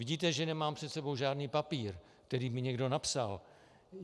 Vidíte, že nemám před sebou žádný papír, který mi někdo napsal.